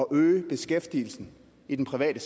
øge beskæftigelsen i den private